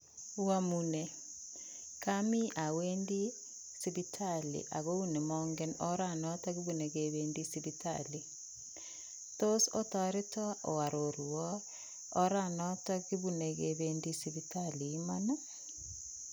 Oamune, kami awendi sipitali ako nemange oranandon nekibune kebendi sipitali, tos otoreta oarorwa oranoton kibine kebendi sipitali Imani??